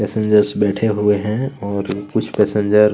passenger बैठे हुए है और कुछ पासेंजर --